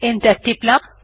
enter টিপলাম